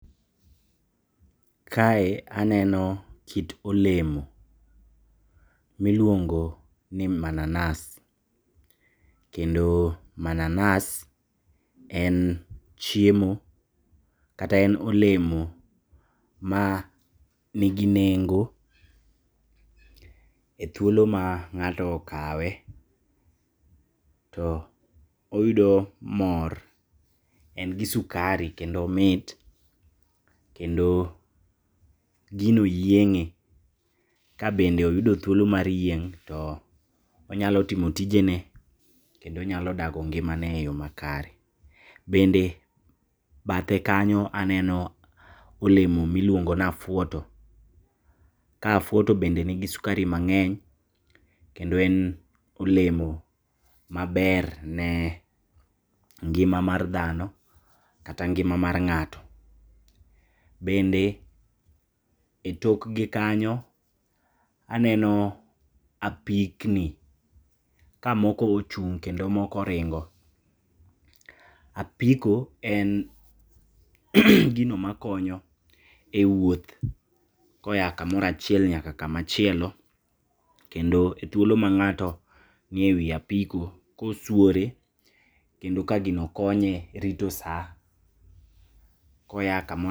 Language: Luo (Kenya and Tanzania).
Kae aneno kit olemo miluong'o ni mananas kendo mananas en chiemo kata en olemo mani neng'o e thuolo ma ng'ato okawe to oyudo mor, en gi sukari kendo omit kendo gino yieng'e kabende oyudo thuolo mar yieng' to onyalo timo tijene kendo onyalo dago ngimane e yo makare ,bende bathe kanyo aneno olemo miluong'o na fuoto ka fuoto bende ni gi sukari mang'eny kendo en olemo maber ne ngima mar dhano kata ngima mar ng'ato ,bende e tok gi kanyo anano apikni ka moko ochung kendo moko ring'o ,apiko en gin makonyo e wuoth koa kamora chiel nyaka kama chielo ,kendo e thuolo mang'ato ni ewi apiko kosuore kendo ka gino konye rito saa koa tich